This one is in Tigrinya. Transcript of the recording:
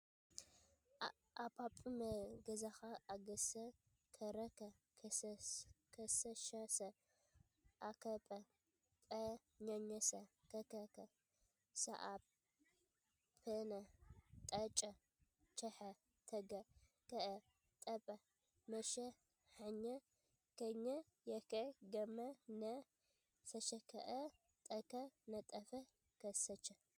አጰኘመ ገኸኘ አገሰ ከረኸ ከሰሸሠ አኘከ ጰኘኘሰ ከከኸ ሰአኘነ ጠጨ ቸሐ ተገ ኸአ ጠጸ መሸ ሐኘ ።ከኘ የከ ገመ ነ ሰሸከአ ጠከ ነጠፈ ከሰ ቸ